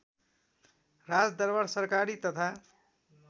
राजदरबार सरकारी तथा